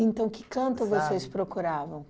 que canto vocês procuravam?